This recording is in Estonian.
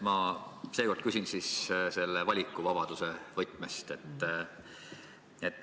Ma seekord küsin valikuvabaduse võtmes.